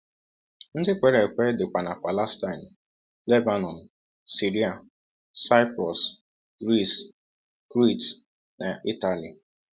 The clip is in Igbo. Ndị kwere ekwe dịkwa na Palestine, Lebanọn, Siria, Saịprọs, Gris, Krit, na Ịtali.